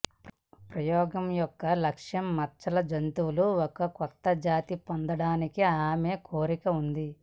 ప్రయోగం యొక్క లక్ష్యం మచ్చల జంతువుల ఒక కొత్త జాతి పొందడానికి ఆమె కోరిక ఉంది